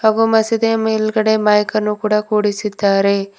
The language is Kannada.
ಓ ಮಸೀದಿಯ ಮೇಲ್ಗಡೆ ಮೈಕನ್ನು ಕೂಡ ಕೂಡಿಸಿದ್ದಾರೆ.